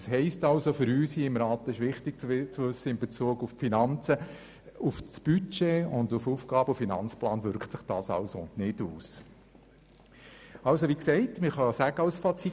Das heisst also für uns hier im Rat – und das ist in Bezug auf die Finanzen wichtig zu wissen –, dass sich dies nicht auf das Budget und auf den AFP auswirkt.